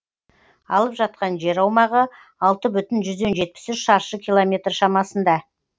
алып жатқан жер аумағы алты бүтін жүзден жетпіс үш шаршы километр шамасында